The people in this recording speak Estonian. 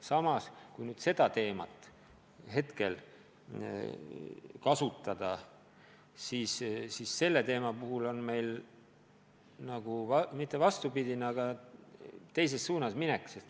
Samas, kui nüüd selle teema juurde naasta, siis selle teema puhul oleks meil nagu mitte just vastupidine, aga teises suunas minek.